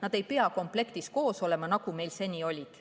Nad ei pea komplektis koos olema, nagu meil seni oli.